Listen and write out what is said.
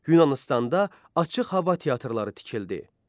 Yunanıstanda açıq hava teatrları tikildi.